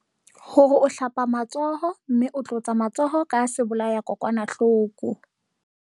Hore o hlapa matsoho mme o tlotsa matsoho ka sebolayakokwanahloko.